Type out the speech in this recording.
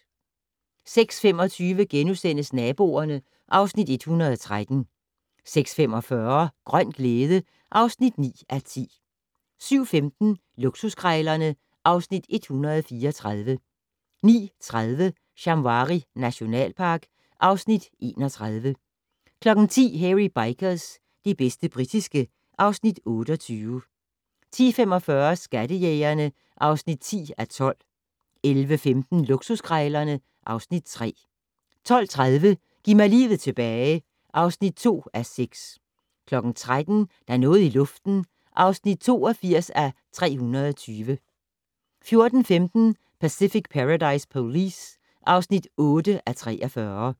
06:25: Naboerne (Afs. 113)* 06:45: Grøn glæde (9:10) 07:15: Luksuskrejlerne (Afs. 134) 09:30: Shamwari nationalpark (Afs. 31) 10:00: Hairy Bikers - det bedste britiske (Afs. 28) 10:45: Skattejægerne (10:12) 11:15: Luksuskrejlerne (Afs. 3) 12:30: Giv mig livet tilbage (2:6) 13:00: Der er noget i luften (82:320) 14:15: Pacific Paradise Police (8:43)